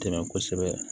Dɛmɛ kosɛbɛ